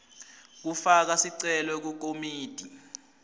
kufaka sicelo kukomiti